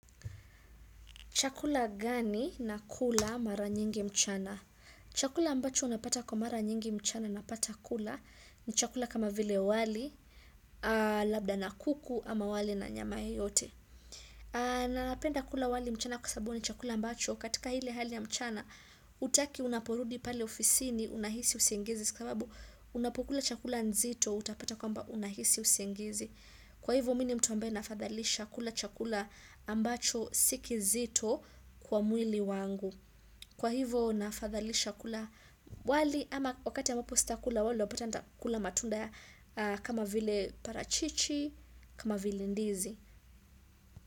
Chakula gani na kula mara nyingi mchana? Chakula ambacho unapata kwa mara nyingi mchana na pata kula ni chakula kama vile wali, labda na kuku ama wali na nyama yoyote. Na napenda kula wali mchana kwasababu ni chakula ambacho, katika ile hali ya mchana, hutaki unaporudi pale ofisi ni unahisi usingizi. Sababu, unapkula chakula nzito, utapata kwamba unahisi usingizi. Kwa hivo mini mtu ambye nafadhalisha kula chakula ambacho si kizito kwa mwili wangu. Kwa hivo nafadhalisha kula wali ama wakati ambapo sita kula wali unapata nita kula matunda kama vile parachichi, kama vile ndizi.